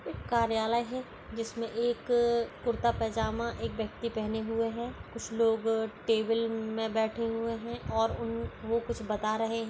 एक कार्यालय है जिसमे एक कुर्ता पैजामा एक व्यक्ति पहने हुए है। कुछ लोग टेबल मे बैठे हुए है और उन वो कुछ बता रहे।